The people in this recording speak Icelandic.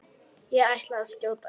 Ég ætla að skjóta ykkur!